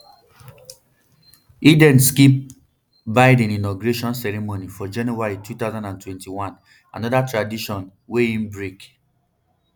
e den skip biden inauguration ceremony for january two thousand and twenty-one anoda tradition wey e break